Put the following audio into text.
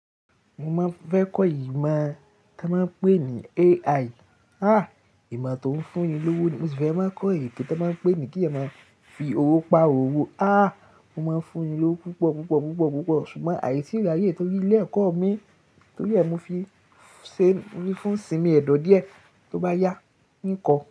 Mo máa fẹ́ kọ́ ìmọ̀ tí wọ́n máa ń pè ní AI. Ah! Ìma to ń fún ni lówó ni. Mo sì fẹ́ máa kọ́ èké tí wọ́n máa ń pè ní kí a máa fi owó pa owó. Ah! Mo máa ń fún ni lówó púpọ̀, púpọ̀, púpọ̀, púpọ̀. Ṣùgbọ́n àì tí ìlò àyẹ̀wò tó fi ilé ẹ̀kọ́ mi, torí ẹ, mo fi ṣe ní fún ìsinmi ẹ̀dọ̀ díẹ̀ tó bá yá n kọ.